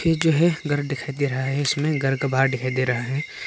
ये जो है घर दिखाई दे रहा है इसमें। घर का बाहर दिखाई दे रहा है।